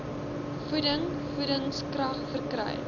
voeding voedingskrag verkry